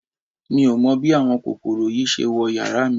Mi ò mọ bí àwọn kòkòrò yìí ṣe wọ yàrá mi